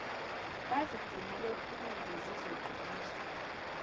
bazigcine bephilile zizoqiniswa